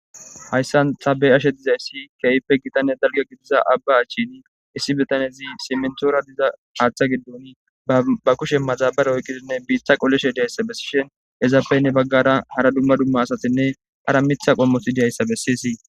hayssan tabe ashe dizayssi keeyppe gitane dalga gidiza abba achini issi betanezi simentoora diza haaththa giddon ba kushe maxabare oyqqidinne biiththa qollishe diyayssa bessishen ezappeynne baggara hara dumma dumma asatinne ara mitha qommosi diyayssa bessiyisi